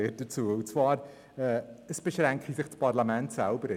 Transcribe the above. Es wurde gesagt, das Parlament beschränke sich selber.